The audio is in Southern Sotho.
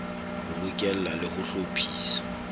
ho bokella le ho hlophisa